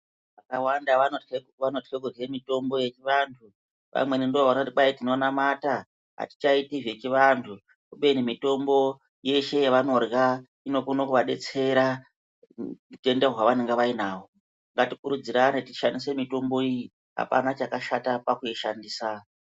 Vakawanda vanotya kurya mitombo yechivantu, vamweni ndovanoti tinonamata atichaiti zvechivandu kubeni mitombo yeshe yavanorya inokona kuvadetsera utenda hwavanenge vainahwo. Ngatikurudzirane tishandise mitombo iyi, apana chakashata pakuishandisa.